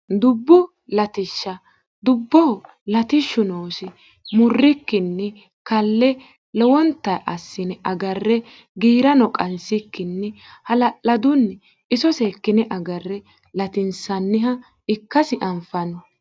dubbu latishsha dubbo latishshu noosi murrikkinni kalle lowonta assine agarre giira no qansikkinni hala'ladunni iso seekkine agarre latinsanniha ikkasi anfano